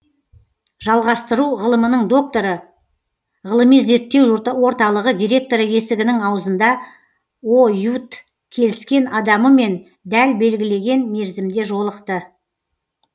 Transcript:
жалғастыру ғылымының докторы ғылыми зерттеу орталығы директоры есігінің аузында оюут келіскен адамымен дәл белгілеген мерзімде жолықты